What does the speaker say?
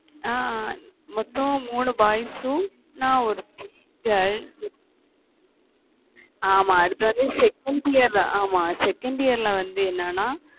அஹ் மொத்தம் மூணு boys உம் நான் ஒருத்தி girl ஆமா அடுத்தது second year தான் ஆமா second year ல வந்து என்னன்னா